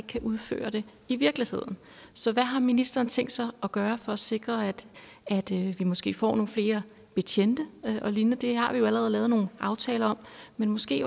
kan udføre det i virkeligheden så hvad har ministeren tænkt sig at gøre for at sikre at vi måske får nogle flere betjente og lignende det har vi jo allerede lavet nogle aftaler om men måske